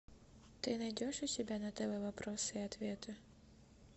ты найдешь у себя на тв вопросы и ответы